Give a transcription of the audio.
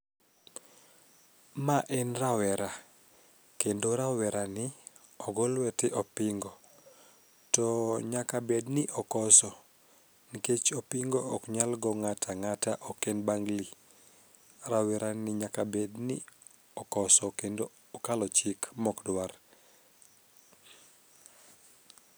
Ma en rawera kendo rawerani ogo lwete opingo to nyaka bedni okoso nkech opingo oknyal go ng'at ang'ata ok en bangli, rawerani nyaka bedni okoso kendo okalo chik mokdwar.